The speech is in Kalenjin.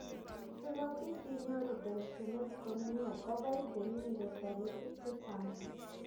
sikobiit inyoru keljinet komie kobai temindet taritik che chang